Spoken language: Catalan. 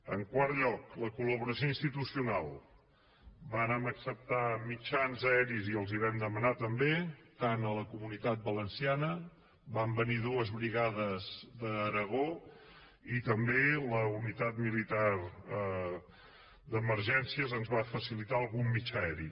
en quart lloc la colceptar mitjans aeris i els els vam demanar també tant a la comunitat valenciana van venir dues brigades d’aragó i també la unitat militar d’emergències ens va facilitar algun mitjà aeri